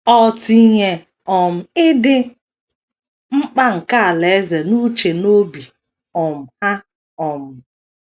Ọ tinyee um ịdị mkpa nke Alaeze n’uche na n’obi um ha um.